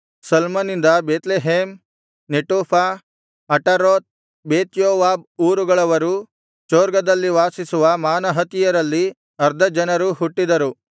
ಸಲ್ಮನಿಂದ Bethlehem Netophah Ataroth Bethjoab ಊರುಗಳವರೂ ಚೊರ್ಗದಲ್ಲಿ ವಾಸಿಸುವ ಮಾನಹತಿಯರಲ್ಲಿ ಅರ್ಧ ಜನರೂ ಹುಟ್ಟಿದರು